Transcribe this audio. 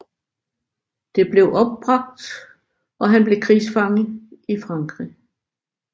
Det blev opbragt og han blev krigsfanger i Frankrig